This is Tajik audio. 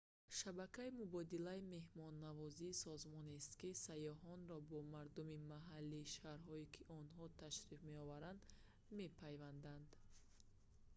шабакаи мубодилаи меҳмоннавозӣ созмонест ки сайёҳонро бо мардуми маҳаллии шаҳрҳое ки онҳо ташриф меоваранд мепайвандад